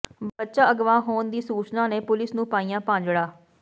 ਬੱਚਾ ਅਗਵਾ ਹੋਣ ਦੀ ਸੂਚਨਾ ਨੇ ਪੁਲਿਸ ਨੂੰ ਪਾਈਆਂ ਭਾਜੜਾਂ